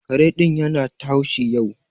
Kare ɗin ya na ta haushi yau.